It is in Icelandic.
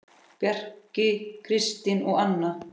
Bjarki, Kristín og Anna.